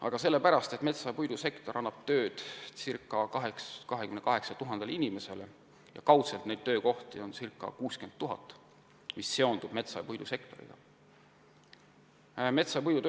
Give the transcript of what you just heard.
Aga sellepärast, et metsa- ja puidusektor annab tööd ca 28 000 inimesele ja kaudselt on neid töökohti, mis seonduvad metsa- ja puidusektoriga, ca 60 000.